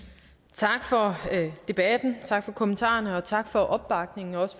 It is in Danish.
tak for debatten tak for kommentarerne tak for opbakningen og